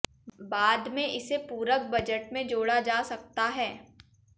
बाद में इसे पूरक बजट में जोड़ा जा सकता है